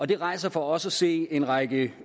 det rejser for os at se en række